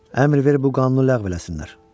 Əmr ver, bu qanunu ləğv eləsinlər.